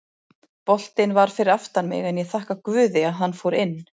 Boltinn var fyrir aftan mig en ég þakka guði að hann fór inn.